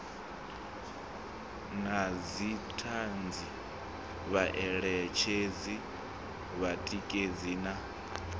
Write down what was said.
na dzithanzi vhaeletshedzi vhatikedzi na